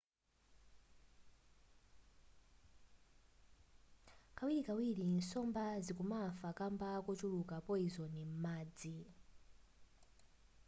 kawirikawiri nsomba zikumafa kamba kochuluka poizoni m'madzi